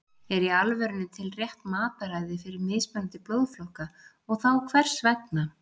er í alvörunni til rétt mataræði fyrir mismunandi blóðflokka og þá hvers vegna